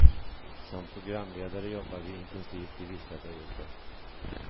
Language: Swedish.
Som programledare jobbar vi intensivt i vissa perioder.